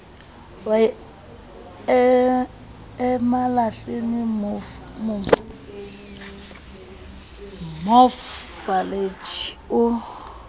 wa emalahleni mof malatjie o